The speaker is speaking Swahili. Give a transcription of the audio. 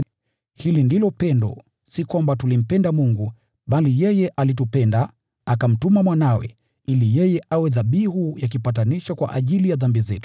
Hili ndilo pendo: si kwamba tulimpenda Mungu, bali yeye alitupenda, akamtuma Mwanawe, ili yeye awe dhabihu ya upatanisho kwa ajili ya dhambi zetu.